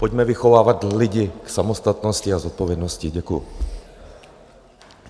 Pojďme vychovávat lidi k samostatnosti a zodpovědnosti Děkuji.